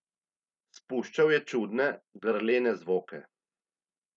Spuščal je čudne, grlene zvoke.